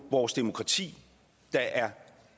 vores demokrati der er